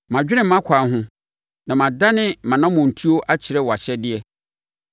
Madwene mʼakwan ho na madane mʼanammɔntuo akyerɛ wʼahyɛdeɛ.